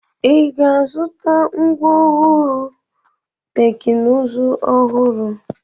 Ị ga-azụta ngwá ọrụ teknụzụ ọhụrụ?